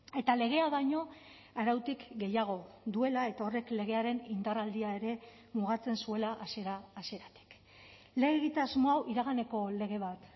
eta legea baino arautik gehiago duela eta horrek legearen indarraldia ere mugatzen zuela hasiera hasieratik lege egitasmoa hau iraganeko lege bat